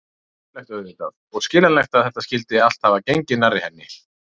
Hörmulegt auðvitað, og skiljanlegt að þetta skyldi allt hafa gengið nærri henni.